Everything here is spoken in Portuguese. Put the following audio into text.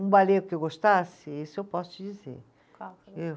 Um balê que eu gostasse, esse eu posso te dizer. Qual. Eu